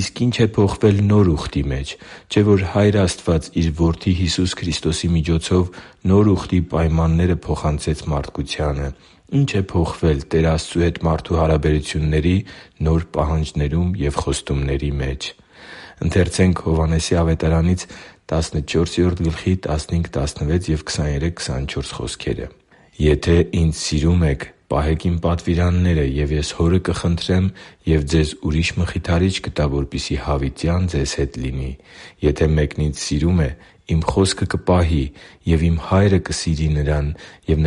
իսկ ի՞նչ է փոխվել Նոր Ուխտի մեջ։ Չէ՞ որ Հայր Աստված Իր Որդի Հիսուս Քրիստոսի միջոցով Նոր Ուխտի պայմանները փոխանցեց մարդկությանը։ Ի՞նչ է փոխվել Տեր Աստծու հետ մարդու հարաբերությունների նոր պահանջներում և խոստումների մեջ։ «Եթե Ինձ սիրում եք, պահե՛ք Իմ պատվիրանները։ Եվ Ես Հորը կխնդրեմ, և ձեզ ուրիշ Մխիթարիչ կտա, որպեսզի հավիտյան ձեզ հետ լինի․․․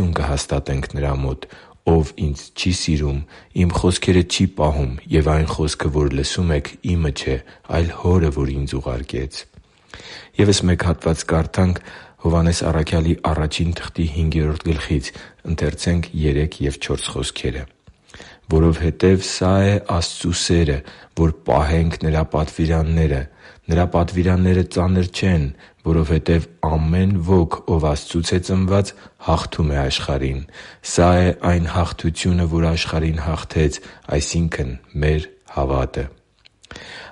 «Եթե մեկն Ինձ սիրում է, Իմ խոսքը կպահի։ Եվ Իմ Հայրը կսիրի նրան, և նրա մոտ կգանք ու բնակություն կհաստատենք նրա մոտ։ Ով Ինձ չի սիրում, Իմ խոսքերը չի պահում. և այն խոսքը, որ լսում եք, Իմը չէ, այլ Հորը, որ Ինձ ուղարկեց» (Հովհաննես 14.15-16,23-24)։ «Որովհետև սա է Աստծու սերը. որ պահենք Նրա պատվիրանները։ Նրա պատվիրանները ծանր չեն, որովհետև ամեն ոք, ով Աստծուց է ծնված, հաղթում է աշխարհին։ Սա՛ է այն հաղթությունը, որ աշխարհին հաղթեց, այսինքն՝ մեր հավատը»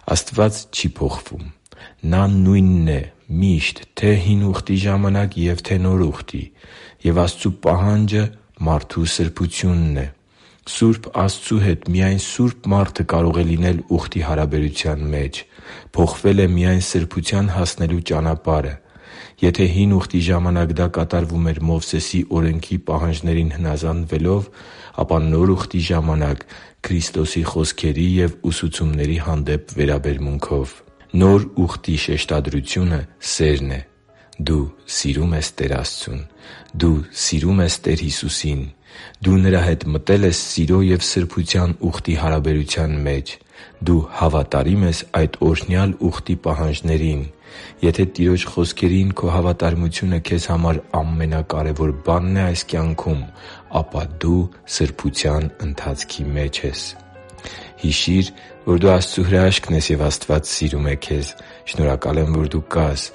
(Ա Հովհաննես 5.3-4)։ Աստված չի փոխվում։ Նա նույնն է միշտ՝ թե՛ Հին Ուխտի ժամանակ և թե՛ Նոր Ուխտի։ Եվ Աստծու պահանջը մարդու սրբությունն է։ Սուրբ Աստծու հետ միայն սուրբ մարդը կարող է լինել Ուխտի հարաբերության մեջ։ Փոխվել է միայն սրբության հասնելու ճանապարհը։ Եթե Հին Ուխտի ժամանակ դա կատարվում էր Մովսեսի Օրենքի պահանջներին հնազանդվելով, ապա Նոր Ուխտի ժամանակ՝ Քրիստոսի խոսքերի և ուսուցումների հանդեպ վերաբերմունքով։ Նոր Ուխտի շեշտադրությունը սերն է։ Դու սիրո՞ւմ ես Տեր Աստծուն։ Դու սիրո՞ւմ ես Տեր Հիսուսին։ Դու Նրա հետ մտե՞լ ես սիրո և սրբության ուխտի հարաբերության մեջ։ Դու հավատարի՞մ ես այդ օրհնյալ ուխտի պահանջներին։ Եթե Տիրոջ խոսքերին քո հավատարմությունը քեզ համար ամենակարևոր բանն է այս կյանքում, ապա դու սրբության ընթացքի մեջ ես։ Հիշի՛ր, որ դու Աստծո հրաշքն ես, և Աստված սիրում է քեզ։ Շնորհակալ եմ, որ դու կա՛ս